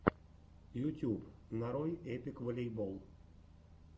ютюб нарой эпик волейбол